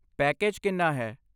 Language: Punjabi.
ਪੈਕੇਜ ਕਿੰਨਾ ਹੈ?